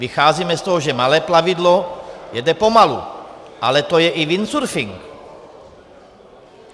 Vycházíme z toho, že malé plavidlo jede pomalu, ale to je i windsurfing.